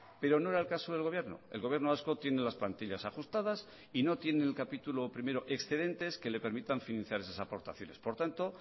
pero no era el caso del gobierno el gobierno vasco tiene las plantillas ajustadas y no tiene en el capítulo primero excedentes que le permitan financiar esas aportaciones por tanto